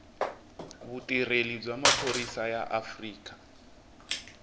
vutirheli bya maphorisa ya afrika